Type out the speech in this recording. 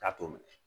K'a t'o minɛ